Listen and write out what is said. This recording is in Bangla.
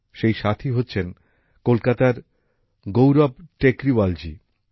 সেই সাথী হচ্ছেন কলকাতার গৌরব টেকরীওয়াল জী